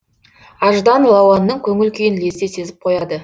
аждан лауанның көңіл күйін лезде сезіп қояды